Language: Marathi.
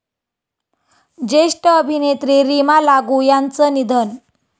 ज्येष्ठ अभिनेत्री रीमा लागू यांचं निधन